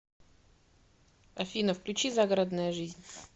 афина включи загородная жизнь